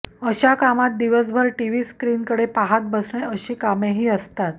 अशा कामात दिवसभर टिव्हीस्क्रीन कडे पाहात बसणे अशी कामेही असतात